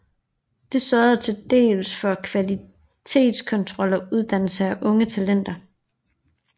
Det sørgede til dels for kvalitetskontrol og uddannelse af unge talenter